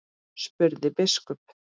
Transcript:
spurði biskup.